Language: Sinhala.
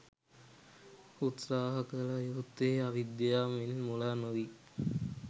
උත්සාහ කළ යුත්තේ අවිද්‍යාවෙන් මුලා නොවී